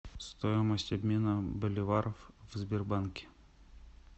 стоимость обмена боливаров в сбербанке